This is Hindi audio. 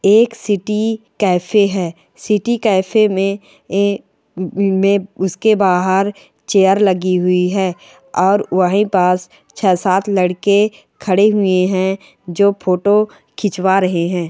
एक सिटी कैफे है सीटी कैफे में एक मे उसके बाहर चेयर लगी हुई है और वही पास छः सात लड़के खड़े हुए है जो फोटो खींचबा रहे है।